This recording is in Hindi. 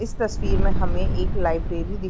इस तस्वीर में हमें एक लाइब्रेरी दिख --